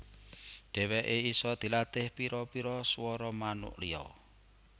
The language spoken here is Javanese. Dèwèké isa dilatih pira pira suwara manuk liya